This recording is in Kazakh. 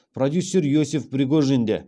продюсер иосиф пригожин де